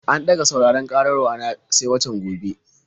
An ɗaga sauraron ƙarar wa na sai watan gobe.